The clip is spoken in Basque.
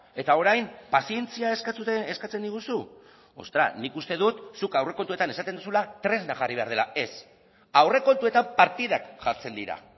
eta orain pazientzia eskatzen diguzu ostras nik uste dut zuk aurrekontuetan esaten duzula tresna jarri behar dela ez aurrekontuetan partidak jartzen dira